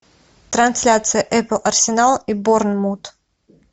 трансляция апл арсенал и борнмут